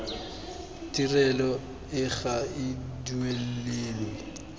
tirelo e ga e duelelwe